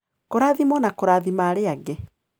Kũrathimwo na Kũrathima Arĩa Angĩ